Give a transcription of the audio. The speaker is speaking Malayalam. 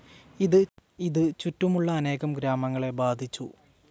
ഇത് ചുറ്റുമുള്ള അനേകം ഗ്രാമങ്ങളെ ബാധിച്ചു.